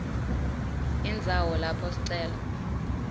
indzawo lapho sicelo